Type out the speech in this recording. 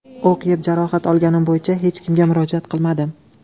O‘q yeb, jarohat olganim bo‘yicha hech kimga murojaat qilmadim.